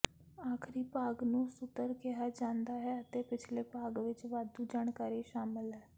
ਆਖਰੀ ਭਾਗ ਨੂੰ ਸੁਤਰ ਕਿਹਾ ਜਾਂਦਾ ਹੈ ਅਤੇ ਪਿਛਲੇ ਭਾਗ ਵਿੱਚ ਵਾਧੂ ਜਾਣਕਾਰੀ ਸ਼ਾਮਲ ਹੈ